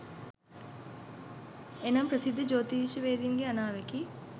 එනම් ප්‍රසිද්ධ ජෝතිෂ්‍යවේදීන්ගේ අනාවැකි